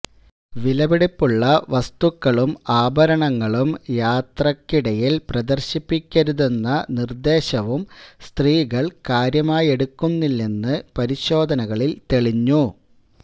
വിലപിടിപ്പുള്ള വസ്തുക്കളും ആഭരണങ്ങളും യാത്രയ്ക്കിടയില് പ്രദര്ശിപ്പിക്കരുതെന്ന നിര്ദേശവും സ്ത്രീകള് കാര്യമായെടുക്കുന്നില്ലെന്ന് പരിശോധനകളില് തെളിഞ്ഞു